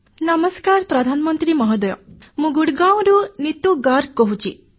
ନମସ୍କାର ପ୍ରଧାନମନ୍ତ୍ରୀ ମହୋଦୟ ମୁଁ ଗୁରଗାଓଁରୁ ନୀତୁ ଗର୍ଗ କହୁଛି